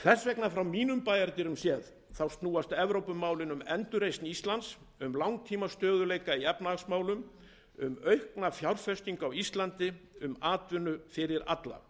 frá mínum bæjardyrum séð snúast evrópumálin þess vegna um endurreisn íslands um langtímastöðugleika í efnahagsmálum um aukna fjárfestingu á íslandi um atvinnu fyrir alla